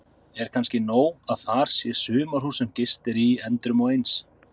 Er kannski nóg að þar sé sumarhús sem gist er í endrum og eins?